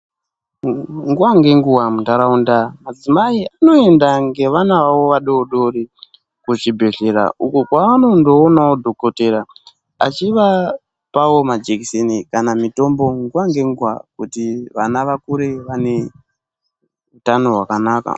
Nguwa ngenguwa munharaunda madzimai anoenda nevana vavo ku zvibhedhlera uko kwavanondiona dhokodhera achivapa majekiseni kana mitombo nguwa ngenguwa kuti vana vavo vakure vane utano hwakanaka.